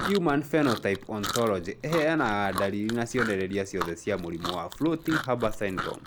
Human Phenotype Ontology ĩheanaga ndariri na cionereria ciothe cia mũrimũ wa Floating Harbor syndrome